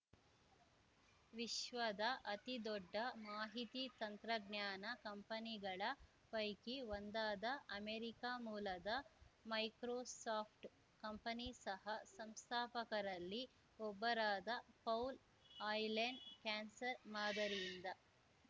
ವಿಶ್ವದ ಅತಿದೊಡ್ಡ ಮಾಹಿತಿ ತಂತ್ರಜ್ಞಾನ ಕಂಪನಿಗಳ ಪೈಕಿ ಒಂದಾದ ಅಮೆರಿಕ ಮೂಲದ ಮೈಕ್ರೋಸಾಫ್ಟ್‌ ಕಂಪನಿ ಸಹ ಸಂಸ್ಥಾಪಕರಲ್ಲಿ ಒಬ್ಬರಾದ ಪೌಲ್‌ ಆ್ಯಲೆನ್‌ ಕ್ಯಾನ್ಸರ್‌ ಮಾದರಿಯಿಂದ